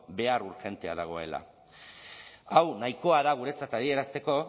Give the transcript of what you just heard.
behar urgentea dagoela hau nahikoa da guretzat adierazteko